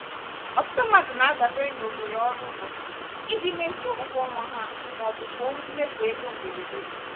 ọtụtụ mmadụ na-adabere n'ohere ọrụ ụbọchị iji mezuo ụgwọ ọnwa ha maọbụ gboo mmefu ego mberede.